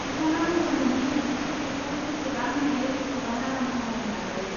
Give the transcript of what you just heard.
बिथाङा बुंदोंमोन दि बिसोर बेखौ जेसेबां हायो एसेबां आराम खालामनो नाजायो।